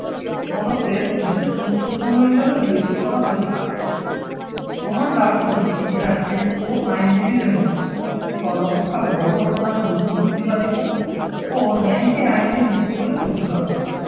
জণকদের বিশেষ গুরুত্বপূর্ণ হিসেবে বিবেচিত করা হয়ে থাকে। রোমান দার্শনিক ইতিহাসবিদ ও আইনজীবীদের মতে সর্বাপেক্ষা বড়ো অবদান হল যুক্তিবাদীতা ও ন্যায়কে আইনের ভিত্তি বলে ঘোষণা করা।